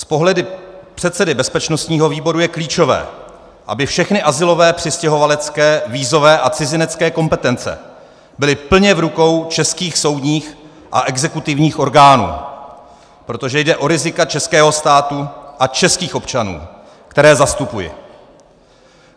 Z pohledu předsedy bezpečnostního výboru je klíčové, aby všechny azylové, přistěhovalecké, vízové a cizinecké kompetence byly plně v rukou českých soudních a exekutivních orgánů, protože jde o rizika českého státu a českých občanů, které zastupují.